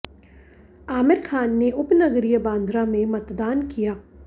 आमिर खान ने उपनगरीय बांद्रा में मतदान किया